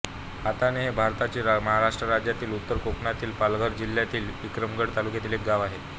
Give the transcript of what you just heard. हाताणे हे भारताच्या महाराष्ट्र राज्यातील उत्तर कोकणातील पालघर जिल्ह्यातील विक्रमगड तालुक्यातील एक गाव आहे